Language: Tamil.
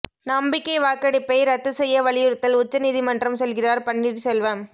நம்பிக்கை வாக்கெடுப்பை ரத்து செய்ய வலியுறுத்தல் உச்சநீதிமன்றம் செல்கிறார் பன்னீர்செல்வம்